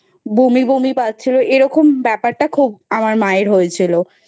বমি বমি পাচ্ছিল এরকম ব্যাপারটা খুব আমার মায়ের হয়েছিল।